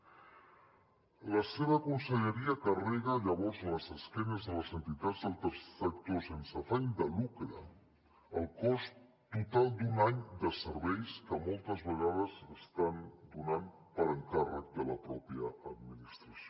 la seva conselleria carrega llavors a l’esquena de les entitats del tercer sector sense afany de lucre el cost total d’un any de serveis que moltes vegades estan donant per encàrrec de la pròpia administració